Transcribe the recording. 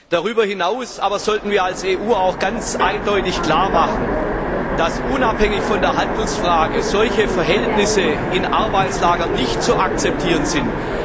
Darüber hinaus sollten wir als EU auch ganz eindeutig klarmachen, dass unabhängig von der Handelsfrage solche Verhältnisse in Arbeitslagern nicht zu akzeptieren sind.